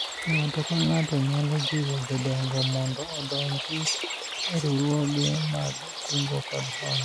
ng'ato ka ng'ato nyalo jiwo jodongo mondo odonji e riwruoge mag kungo kod hola